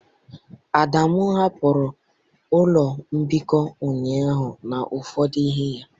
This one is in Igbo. Adamu hapụrụ ụlọ mbikọ ụnyahụ na ụfọdụ ihe ya.